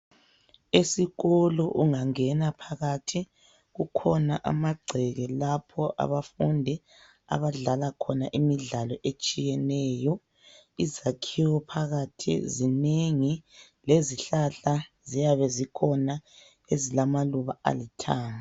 Esikolo ungangena phakathi kukhona ama gceke lapho abafundi abadlala khona imidlalo etshiyeneyo, izakhiwo phakathi zinengi lezihlala ziyabe zikhona ezilamaluba alithanga.